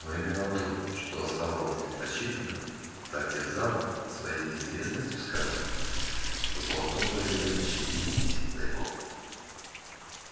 но именно то что оставалось непрочитанным так терзало своей неизвестностью скарлетт что толкнуло её на чтение писем тайком